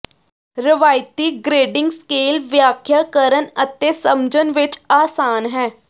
ਰਵਾਇਤੀ grading scale ਵਿਆਖਿਆ ਕਰਨ ਅਤੇ ਸਮਝਣ ਵਿੱਚ ਆਸਾਨ ਹੈ